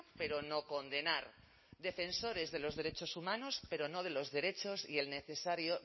pero no condenar defensores de los derechos humanos pero no de los derechos y el necesario